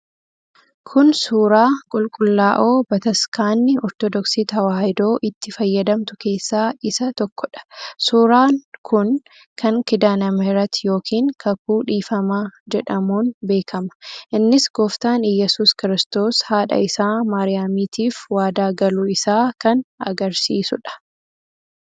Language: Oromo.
Kun suuraa qulqullaa'oo Bataskaanni Ortodoksii Tewaahidoo itti fayyadamtu keessaa isa tokkodha. Suuraa kun kan 'Kidaanemihireti' yookiin Kakuu Dhiifamaa jedhamuun beekama. Innis Gooftaan Iyyesuus Kiristoos haadha isaa Maariyaamiitiif waadaa galuu isaa kan agarsiisuudha.